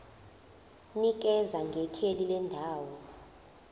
nikeza ngekheli lendawo